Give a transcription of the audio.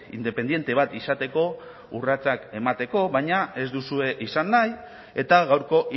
independente bat izateko urratsak emateko baina ez duzue izan nahi eta gaurko